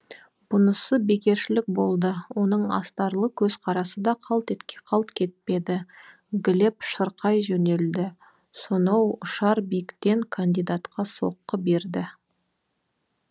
бұнысы бекершілік болды оның астарлы көзқарасы да қалт кетпеді глеб шырқай жөнелді сонау ұшар биіктен кандидатқа соққы берді